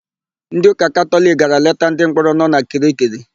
Ndịụka Katọliki gara leta ndịmkpọrọ nọ na Kirikiri.